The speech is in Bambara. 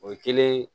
O ye kelen